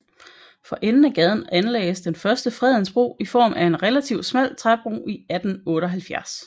For enden af gaden anlagdes den første Fredensbro i form af en relativ smal træbro i 1878